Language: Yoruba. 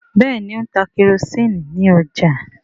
Béèni O ń tá kerosiini ní ọjà.